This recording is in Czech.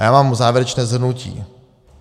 A já mám závěrečné shrnutí.